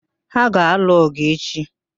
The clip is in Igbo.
Ha a ga-alụ ọ̀gụ̀ echi?